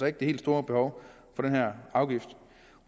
ikke det helt store behov for den her afgift